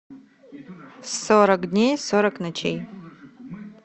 сорок дней сорок ночей